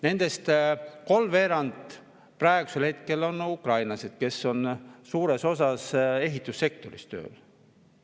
Nendest kolmveerand on praegu ukrainlased, kes on suures osas ehitussektoris tööl.